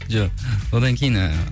жоқ одан кейін ыыы